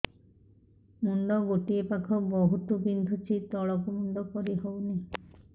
ମୁଣ୍ଡ ଗୋଟିଏ ପାଖ ବହୁତୁ ବିନ୍ଧୁଛି ତଳକୁ ମୁଣ୍ଡ କରି ହଉନି